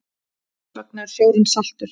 Hvers vegna er sjórinn saltur?